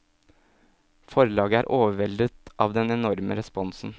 Forlaget er overveldet av den enorme responsen.